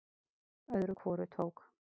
Öðru hvoru tók